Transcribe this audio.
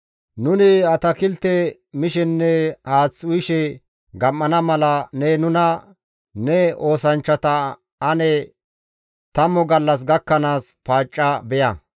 «Nuni atakilte mishenne haath uyishe gam7ana mala ne nuna ne oosanchchata ane tammu gallas gakkanaas paacca beya.